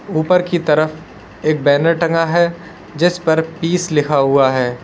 ऊपर की तरफ एक बैनर टंगा है जिस पर पीस लिखा हुआ है।